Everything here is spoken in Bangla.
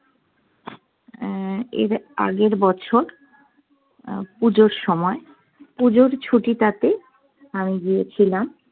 অ্যাঁ এর আগের বছর অ্যাঁ পুজোর সময়, পুজোর ছুটিটাতে আমি গিয়েছিলাম।